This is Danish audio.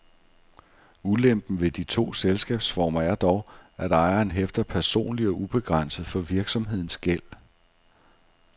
Ulempen ved de to selskabsformer er dog, at ejeren hæfter personligt og ubegrænset for virksomhedens gæld.